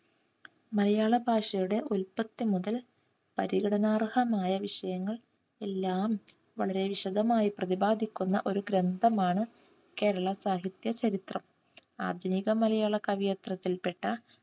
മലയാളഭാഷയുടെ ഉല്പത്തി മുതൽ പരിഗണനാർഹമായ വിഷയങ്ങൾ എല്ലാം വളരെ വിശദമായി പ്രതിപാദിക്കുന്ന ഒരു ഗ്രന്ഥമാണ് കേരള സാഹിത്യ ചരിത്രം. ആധുനിക മലയാള കവിയത്രത്തിൽപ്പെട്ട